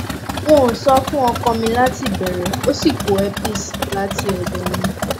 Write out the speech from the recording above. n ò sọ fún ọkọ mi láti ìbẹrẹ ó sì kó herpes láti ọdọ mi